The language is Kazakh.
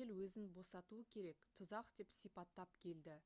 ел өзін босатуы керек «тұзақ» деп сипаттап келді